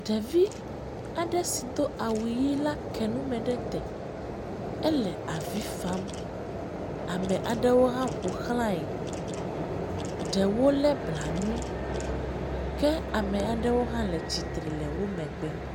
Ɖevi aɖe si do awu ʋi la ke nume ɖe te, ele avi fam, ame aɖewo hã ƒoxlae, ɖewo lé blanui ke ame aɖewo hã le tsitre le wo emegbe.